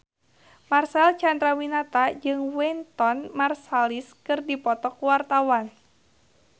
Marcel Chandrawinata jeung Wynton Marsalis keur dipoto ku wartawan